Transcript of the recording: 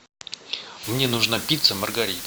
мне нужна пицца маргарита